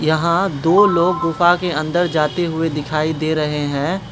यहां दो लोग गुफा के अंदर जाते हुए दिखाई दे रहे हैं।